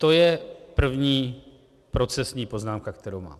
To je první procesní poznámka, kterou mám.